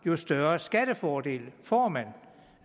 jo større skattefordel får man